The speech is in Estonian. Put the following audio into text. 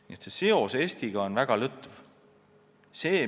Nii et seos Eestiga on väga lõtv.